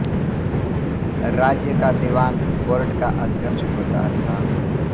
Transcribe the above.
राज्य का दीवान बोर्ड का अध्यक्ष होता था